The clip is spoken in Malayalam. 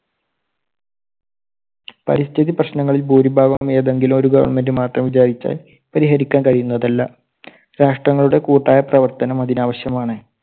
പരിസ്ഥിതി പ്രശ്നങ്ങളിൽ ഭൂരിഭാഗവും ഏതെങ്കിലും ഒരു government മാത്രം വിചാരിച്ചാൽ പരിഹരിക്കാൻ കഴിയുന്നതല്ല. രാഷ്ട്രങ്ങളുടെ കൂട്ടായ പ്രവർത്തനം അതിനാവശ്യമാണ്.